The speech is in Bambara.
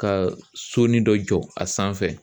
Ka sonin dɔ jɔ a sanfɛ.